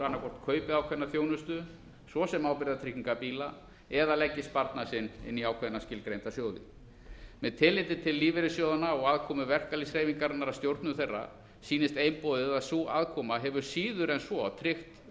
annað hver kaupi ákveðna þjónustu svo sem ábyrgðartryggingar bíla eða leggi sparnað sinn inn í ákveðna skilgreinda sjóði með tilliti til lífeyrissjóðanna og aðkomu verkalýðshreyfingarinnar að stjórnum þeirra sýnist einboðið að sú aðkoma hefur síður en svo tryggt